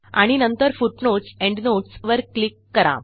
आणि नंतरFootnotesEndnotes वर क्लिक करा